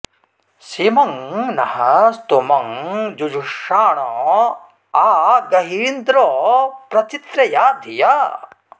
सेमं नः स्तोमं जुजुषाण आ गहीन्द्र प्र चित्रया धिया